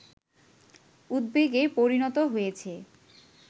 উদ্বেগে পরিণত হয়েছে